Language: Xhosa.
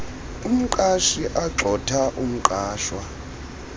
umqashi agxotha umqashwa